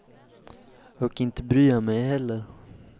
Och inte bryr jag mej heller.